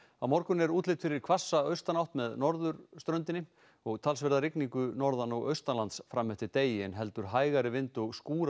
á morgun er útlit fyrir hvassa austanátt með norðurströndinni og talsverða rigningu norðan og fram eftir degi en heldur hægari vind og